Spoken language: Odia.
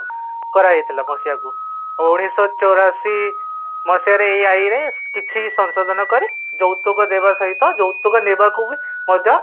କରାଯାଇଥିଲା ମସିହା କୁ ଉନ୍ନିସହ ଚୌରାଶି ମସିହା ରେ ଏହି ଏଇ ରେ କିଛି ସଂଶୋଧନ କରି ଯୌତୁକ ଦେବା ସହିତ ଯୌତୁକ ନେବାକୁବ ମଧ୍ୟ୍ୟ